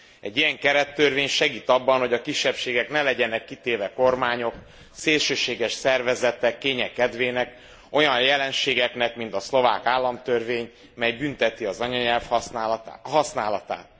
Egy ilyen kerettörvény segít abban, hogy a kisebbségek ne legyenek kitéve kormányok, szélsőséges szervezetek kénye kedvének, olyan jelenségeknek, mint a szlovák államtörvény, mely bünteti az anyanyelv használatát.